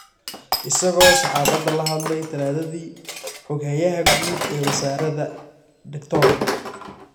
Isagoo saxaafadda la hadlay Talaadadii, xoghayaha guud ee wasaaradda, Dr.